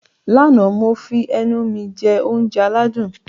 Lánàá, mo fi ẹnu mi jẹ oúnjẹ aládùn